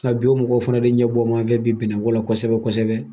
Nka bi o mɔgɔw fana de ɲɛbɔmafɛ bi bɛnɛ kɔ la kosɛbɛ kosɛbɛ.